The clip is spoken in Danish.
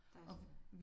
Der er også